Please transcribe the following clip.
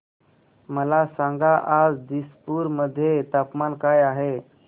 मला सांगा आज दिसपूर मध्ये तापमान काय आहे